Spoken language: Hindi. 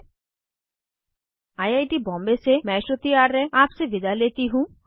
httpspoken tutorialorgNMEICT Intro I I T Bombay से मैं श्रुति आर्य आपसे विदा लेती हूँ